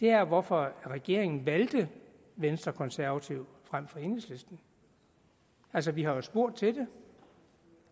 er hvorfor regeringen valgte venstre og konservative frem for enhedslisten altså vi har jo spurgt til det